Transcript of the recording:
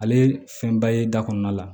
Ale ye fɛnba ye da kɔnɔna la